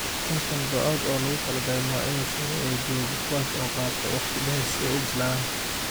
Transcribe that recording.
konton bacood oo loogu talagalay noocyada sare ee joogga kuwaas oo qaata waqti dheer si ay u bislaadaan.